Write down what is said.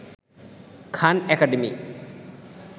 Khan academy